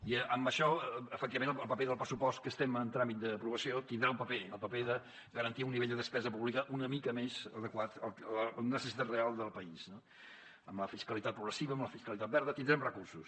i en això efectivament el paper del pressupost que estem en tràmit d’aprovació tindrà un paper el paper de garantir un nivell de despesa pública una mica més adequat a la necessitat real del país no amb la fiscalitat progressiva amb la fiscalitat verda tindrem recursos